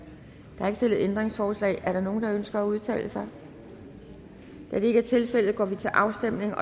stillet ændringsforslag er der nogen der ønsker at udtale sig da det ikke er tilfældet går vi til afstemning